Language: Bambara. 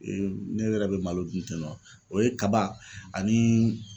ne yɛrɛ bɛ malo dun ten nɔ o ye kaba ani